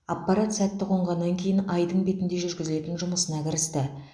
аппарат сәтті қонғаннан кейін айдың бетінде жүргізілетін жұмысына кірісті